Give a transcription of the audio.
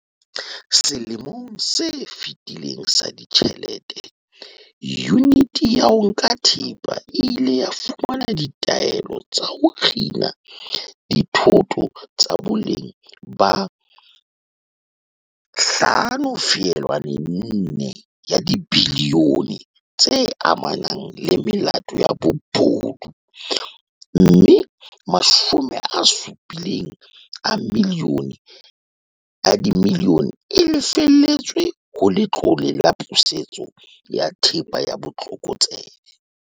Selemong se fetileng sa ditjhelete, Yuniti ya ho Nka Thepa e ile ya fumana ditaelo tsa ho kgina dithoto tsa boleng ba R5.4 bilione tse amanang le melato ya bobodu, mme R70 milione e lefetswe ho Letlole la Pusetso ya Thepa ya Botlokotsebe.